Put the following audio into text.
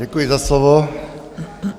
Děkuji za slovo.